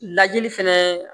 Lajɛli fɛnɛ